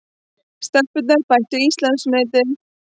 Stelpurnar bættu Íslandsmetið